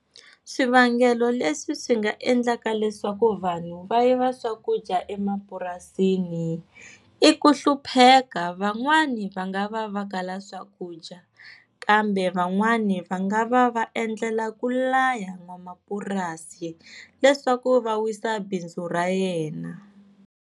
Swivangelo leswi swi nga endlaka leswaku vanhu va yiva swakudya emapurasini i ku hlupheka, van'wana va nga va va kala swakudya kambe van'wana va nga va va endlela ku laya n'wamapurasi leswaku va wisa bindzu ra yena.